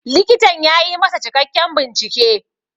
Likitan ya yi masa cikakken bincike.